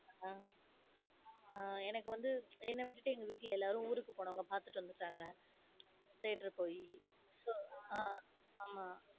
அஹ் ஆஹ் எனக்கு வந்து என்ன விட்டுட்டு எங்க வீட்டுல எல்லாரும் ஊருக்கு போனாங்க பாத்துட்டு வந்துட்டாங்க. theater போய் so ஆஹ் ஆமா.